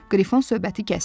Qrifon söhbəti kəsdi.